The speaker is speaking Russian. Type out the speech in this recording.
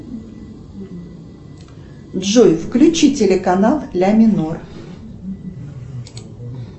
джой включи телеканал ля минор